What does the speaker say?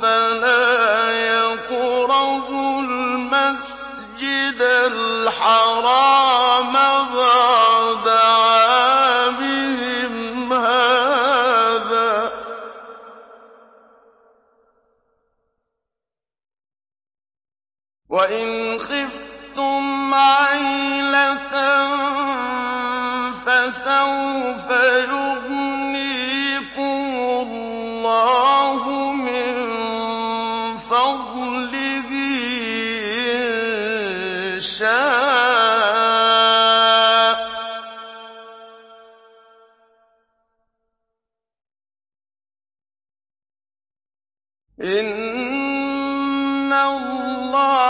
فَلَا يَقْرَبُوا الْمَسْجِدَ الْحَرَامَ بَعْدَ عَامِهِمْ هَٰذَا ۚ وَإِنْ خِفْتُمْ عَيْلَةً فَسَوْفَ يُغْنِيكُمُ اللَّهُ مِن فَضْلِهِ إِن شَاءَ ۚ إِنَّ اللَّهَ